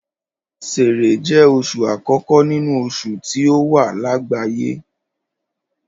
Ṣẹẹrẹ jẹ́ oṣù àkókò nínú oṣù tí ó wà lágbàáyé.